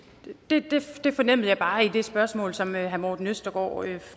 fornemmede jeg bare i det spørgsmål som herre morten østergaard